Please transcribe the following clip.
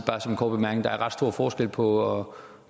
at der er ret stor forskel på